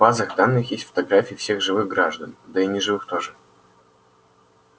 в базах данных есть фотографии всех живых граждан да и неживых тоже